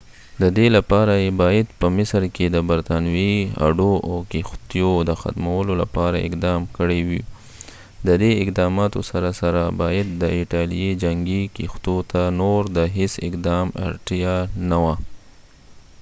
ددې لپاره یې باید په مصر کې د برطانوي اډو او کښتیو د ختمولو لپاره اقدام کړي و ددې اقداماتو سره سره باید د ایټالیې جنګی کښتیو ته نور د هیڅ اقدام اړتیا نه وه